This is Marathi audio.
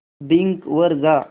बिंग वर जा